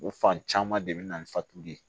O fan caman de bɛ na ni fatuli ye